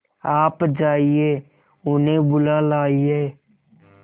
आप जाइए उन्हें बुला लाइए